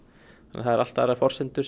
allt aðrar forsendur